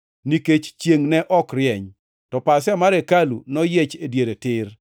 nikech chiengʼ ne ok rieny. To pasia mar hekalu noyiech e diere tir.